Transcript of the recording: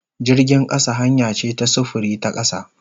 Jirgin kasa hanya ce ta sufuri ta kasa.